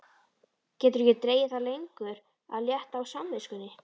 Getur ekki dregið það lengur að létta á samviskunni.